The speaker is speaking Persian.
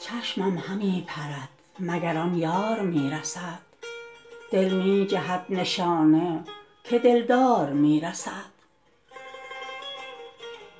چشمم همی پرد مگر آن یار می رسد دل می جهد نشانه که دلدار می رسد